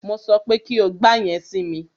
Mo sọ pé kí o gba yẹn si mi!